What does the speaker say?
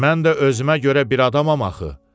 Mən də özümə görə bir adamam axı.